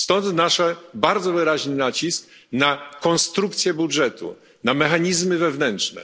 Stąd nasz bardzo wyraźny nacisk na konstrukcję budżetu, na mechanizmy wewnętrzne.